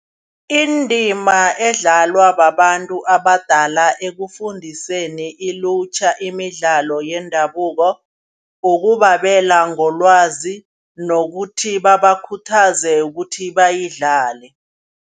Indima edlalwa babantu abadala ekufundiseni ilutjha imidlalo yendabuko. Kukubabela ngolwazi nokuthi bebakhuthaze ukuthi bayidlale.